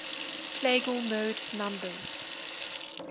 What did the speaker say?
plagal mode numbers